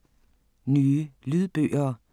Nye lydbøger